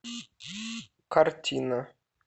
картина